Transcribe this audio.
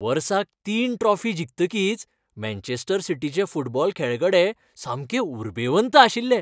वर्साक तीन ट्रॉफी जिखतकीच मँचेस्टर सिटीचे फुटबॉल खेळगडे सामके उरबेवंत आशिल्ले.